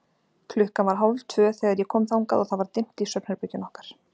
Klukkan var hálftvö þegar ég kom þangað og það var dimmt í svefnherberginu okkar.